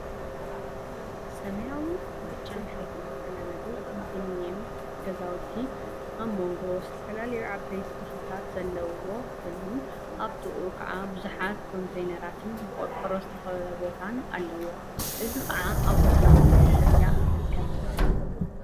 ስማያዊን ብጫን ሕብሪ ዝተለመጹ ኮንደምንየም ገዛውቲ ኣብ መንጎ ዝተፈላለዩ ዓበይቲ ተክሊታት ዘለውዎ ኮይኑ ኣብ ጥቃኡ ከዓ ቡዙሓት ኮንተይነራትን ብቆርቆሮ ዝተከበበ ቦታን ኣለዎ። እዚ ከዓ ኣብ ወሰን ስፓልት ጽርግያ ይርከብ።